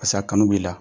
Pasik'a kanu b'i la